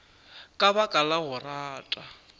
ka baka la go rata